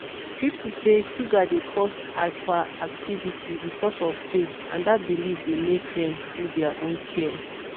people say sugar dey cause hyperactivity because of faith and dat belief dey make dem do their own care.